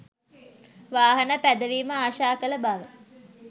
වාහන පැදවීම ආශා කළ බව